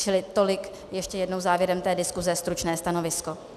Čili tolik ještě jednou závěrem té diskuse stručné stanovisko.